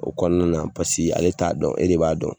O kɔnɔna na ale t'a dɔn e de b'a dɔn